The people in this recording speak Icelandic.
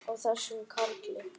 Á þessum karli!